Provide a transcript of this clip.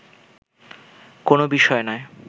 কোনও বিষয় নয়